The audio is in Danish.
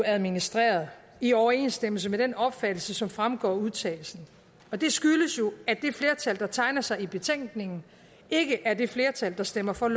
administreret i overensstemmelse med den opfattelse som fremgår af udtalelsen og det skyldes jo at det flertal der tegner sig i betænkningen ikke er det flertal der stemmer for